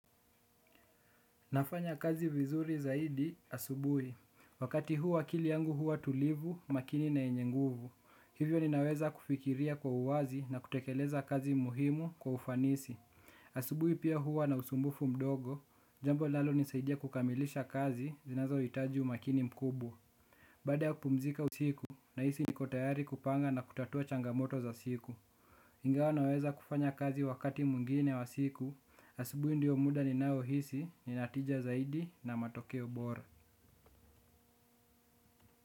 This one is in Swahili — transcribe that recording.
Nafanya kazi vizuri zaidi asubui. Wakati hu akili yangu huwa tulivu, makini na yenye nguvu. Hivyo ninaweza kufikiria kwa uwazi na kutekeleza kazi muhimu kwa ufanisi. Asubui pia huwa na usumbufu mdogo. Jambo linalo nisaidia kukamilisha kazi zinazo hitaji umakini mkubwa. Baada ya kupumzika usiku nahisi niko tayari kupanga na kutatua changamoto za siku Ngawa naweza kufanya kazi wakati mwingine wa siku. Asibui ndio muda ninao hisi ninatija zaidi na matokeo bora.